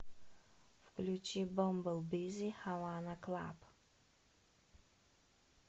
включи бамбл бизи хавана клаб